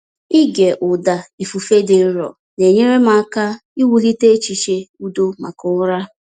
Ịge ụda ifufe dị nro na-enyere m aka iwulite echiche udo maka ụra.